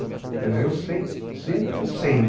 Quer dizer, eu sei, sempre eu sei.